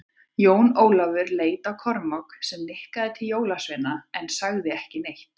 Jón Ólafur leit á Kormák, sem nikkaði til jólasveinana en sagði ekki neitt.